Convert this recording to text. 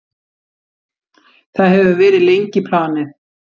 Það hefur verið lengi planið.